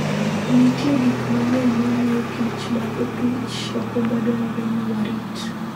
Nitie gik mang'eny ma miyo kich mag opich okumba dwarore ni warit.